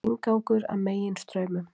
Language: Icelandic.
Inngangur að Meginstraumum